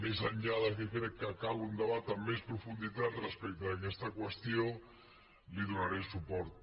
més enllà que crec que cal un debat amb més profunditat respecte a aquesta qüestió hi donaré suport